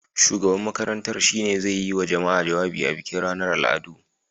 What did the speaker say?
Shugaban makarantar shi ne zai yi wa jama'a jawabi a bikin ranar al'adu.